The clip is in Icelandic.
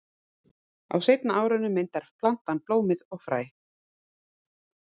Á seinni árinu myndar plantan blómið og fræ.